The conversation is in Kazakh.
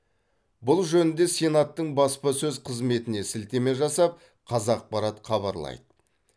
бұл жөнінде сенаттың баспасөз қызметіне сілтеме жасап қазақпарат хабарлайды